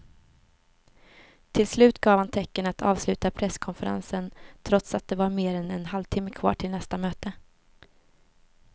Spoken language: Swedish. Till slut gav han tecken att avsluta presskonferensen trots att det var mer än en halvtimme kvar till nästa möte.